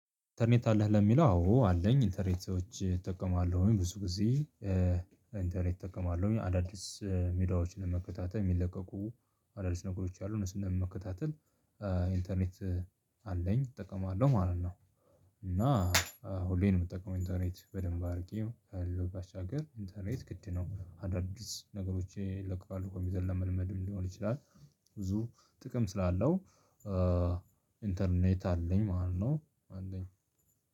ኢንተርኔት አለህ ለሚለው፣ አዎ አለኝ። ኢንተርኔቶች እጠቀማለሁ። ብዙ ጊዜ ኢንተርኔት እጠቀማለሁ። አዳዲስ ሚዲያዎችን ለመከታተል፣ የሚለቀቁ አዳዲስ ነገሮች አሉ። እሱን ለመከታተል ኢንተርኔት አለኝ፣ እጠቀማለሁ ማለት ነው። እና ሁሌ እምጠቀመው ኢንተርኔት በደንብ አድርጌ ከዚያ ባሻገር ኢንተርኔት ግድነው። አዳዲስ ነገሮች ይለቀቃሉ ኮምፒዉተር ለመል መድ ሊሆን ይችላል። ብዙ ጥቅም ስላለው ኢንተርኔት አለኝ ማለት ነው። አለኝ